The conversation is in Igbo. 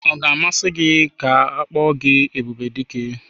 Ọ ga-amasị gị ịkpọ gị Ebubedike?